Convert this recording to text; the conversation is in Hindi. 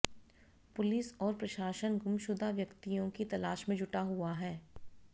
पुलिस और प्रशासन गुमशुदा व्यक्तियों की तलाश में जुटा हुआ है